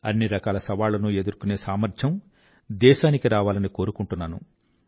అన్నిరకాల సవాళ్లనూ ఎదుర్కొనే సామర్థ్యం దేశానికి రావాలని కోరుకుంటున్నాను